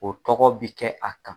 O tɔgɔ bi kɛ a kan.